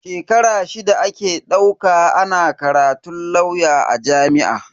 Shekara shida ake dauka ana karatun lauya a jami'o'i.